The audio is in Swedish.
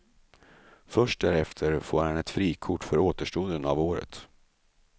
Först därefter får han ett frikort för återstoden av året.